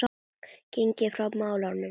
Gengið frá málum í